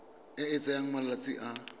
e e tsayang malatsi a